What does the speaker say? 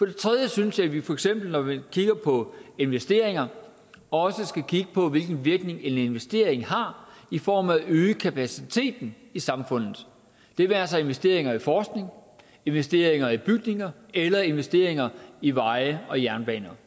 det tredje synes jeg at vi for eksempel når vi kigger på investeringer også skal kigge på hvilken virkning en investering har i form af at øge kapaciteten i samfundet det være sig investeringer i forskning investeringer i bygninger eller investeringer i veje og jernbaner